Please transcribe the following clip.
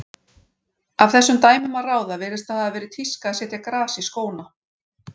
Af þessum dæmum að ráða virðist það hafa verið tíska að setja gras í skóna.